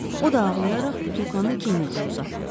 O da ağlayaraq butulkanı Kennediyə uzatdı.